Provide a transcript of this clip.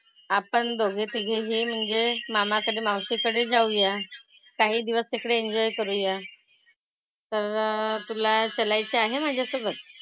आपण दोघे तिघेनीं म्हणजे मामाकडे, मावशीकडे जाऊया. काही दिवस तिकडे enjoy करूया. तर तुला चालायचं आहे माझ्यासोबत?